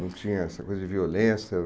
Não tinha essa coisa de violência?